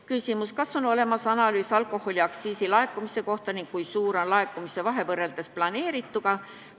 Küsimus: kas on olemas analüüs alkoholiaktsiisi laekumise kohta ning kui suur on alalaekumine võrreldes planeerituga?